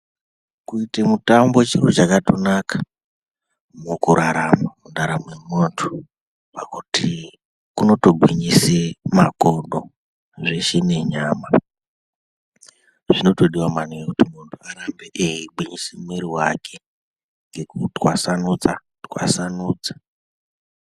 Kuite mutambo chero chakatonaka mukurarama mundaramo yemuntu, pakuti unotogwinyise makodo zveshe nenyama .Zvinotodiwa maningi kuti munhu arambe eigwinyisa muiri wake ngekutwasanudza twasanudza.